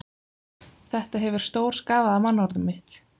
Þetta hefur stórskaðað mannorð mitt